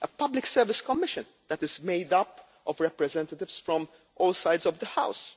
a Public Service Commission that is made up of representatives from all sides of the